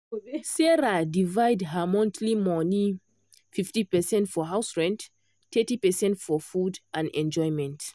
sarah divide her monthly money: 50 percent for house rent thirty percent for food and enjoyment.